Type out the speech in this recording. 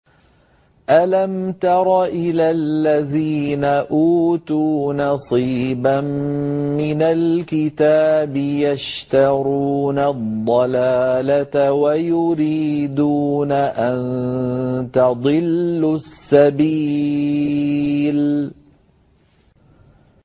أَلَمْ تَرَ إِلَى الَّذِينَ أُوتُوا نَصِيبًا مِّنَ الْكِتَابِ يَشْتَرُونَ الضَّلَالَةَ وَيُرِيدُونَ أَن تَضِلُّوا السَّبِيلَ